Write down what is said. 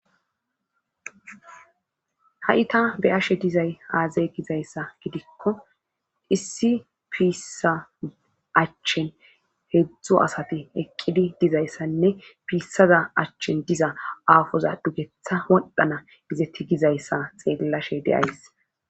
ha7ita be ashe dizay aazay gizayssa gidikko issi piissa achchen heedzdzu asati eqqidi dizayssanne piissaza achchen diza aafoza dugetha woldhana izetti gizayssa xeellashe deays